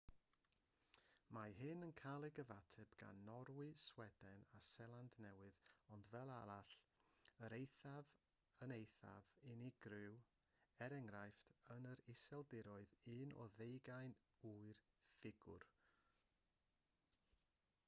mae hyn yn cael ei gyfateb gan norwy sweden a seland newydd ond fel arall yn eithaf yn eithaf unigryw e.e. yn yr iseldiroedd un i ddeugain yw'r ffigur